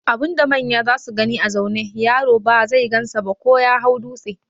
Abun da manya zasu gani a zaune, yaro ba zai gansa ba ko ya hau dūtse.